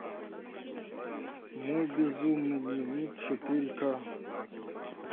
мой безумный дневник четыре к